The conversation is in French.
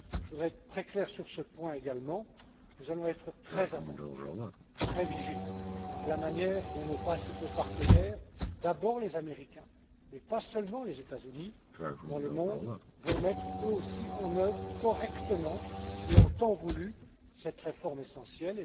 Je voudrais être très clair sur ce point également nous allons être très attentifs, très vigilants à la manière dont nos principaux partenaires d'abord les Américains, mais pas seulement les États Unis dans le monde vont mettre, eux aussi en œuvre, correctement et en temps voulu, cette réforme essentielle.